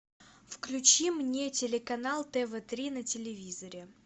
включи мне телеканал тв три на телевизоре